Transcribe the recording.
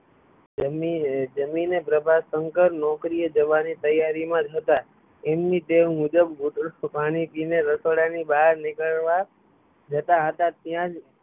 જમી જમી ને પ્રભાશંકર નોકરી એ જવાની ત્યારી માં જ હતાં એમની ટેવ મુજબ પાણી પીય ને રસોડા ની બહાર નીકળવા જતાં હતાં ત્યાં જ